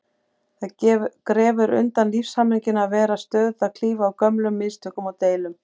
Það grefur undan lífshamingjunni að vera stöðugt að klifa á gömlum mistökum og deilum.